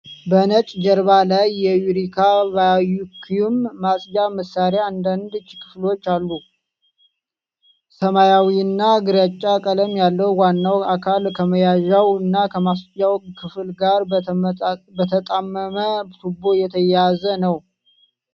በነጭ ጀርባ ላይ የዩሬካ ቫክዩም ማጽጃ መሳሪያና አንዳንድ ክፍሎቹ አሉ። ሰማያዊና ግራጫ ቀለም ያለው ዋናው አካል ከመያዣው እና ከማጽጃው ክፍል ጋር በተጣመመ ቱቦ የተያያዘ ነው።